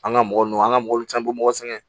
An ka mɔgɔ nun an ka mɔbili caman be mɔgɔ sɛgɛn